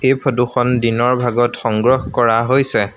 এই ফটো খন দিনৰ ভাগত সংগ্ৰহ কৰা হৈছে।